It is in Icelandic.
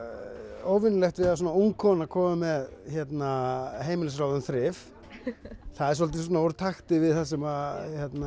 óvenjulegt við að svona ung kona komi með heimilisráð um þrif það er svolítið svona úr takti við það sem